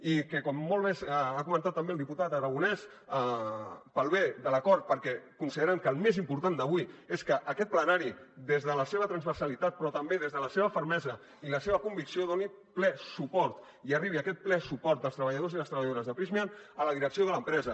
i que com molt bé ha comentat també el diputat aragonés pel bé de l’acord perquè considerem que el més important d’avui és que aquest plenari des de la seva transversalitat però també des de la seva fermesa i la seva convicció hi doni ple suport i arribi aquest ple suport als treballadors i les treballadores de prysmian a la direcció de l’empresa